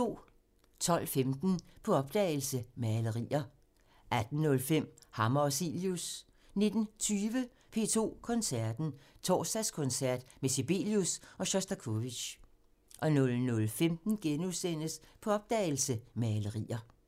12:15: På opdagelse – Malerier 18:05: Hammer og Cilius 19:20: P2 Koncerten – Torsdagskoncert med Sibelius og Sjostakovitjj 00:15: På opdagelse – Malerier *